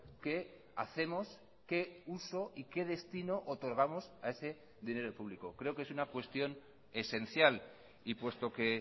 qué hacemos qué uso y qué destino otorgamos a ese dinero público creo que es una cuestión esencial y puesto que